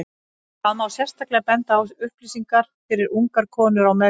Þar má sérstaklega benda á upplýsingar fyrir ungar konur á meðgöngu.